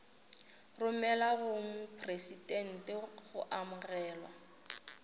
romelwa go mopresidente go amogelwa